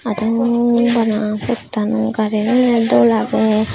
ado nuo bana potaano garigano dol agey.